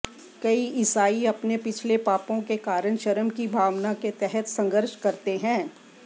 कई ईसाई अपने पिछले पापों के कारण शर्म की भावना के तहत संघर्ष करते हैं